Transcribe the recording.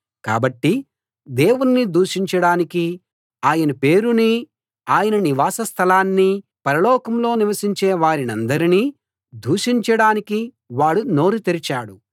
కాబట్టి దేవుణ్ణి దూషించడానికీ ఆయన పేరునీ ఆయన నివాస స్థలాన్నీ పరలోకంలో నివసించే వారినందరినీ దూషించడానికి వాడు నోరు తెరిచాడు